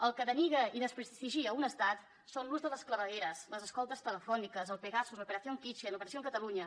el que denigra i desprestigia un estat són l’ús de les clavegueres les escoltes telefòniques el pegasus la operación kitchen l’operació catalunya